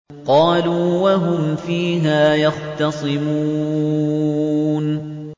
قَالُوا وَهُمْ فِيهَا يَخْتَصِمُونَ